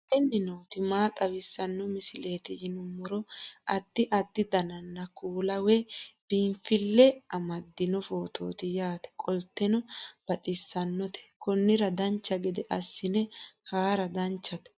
aleenni nooti maa xawisanno misileeti yinummoro addi addi dananna kuula woy biinsille amaddino footooti yaate qoltenno baxissannote konnira dancha gede assine haara danchate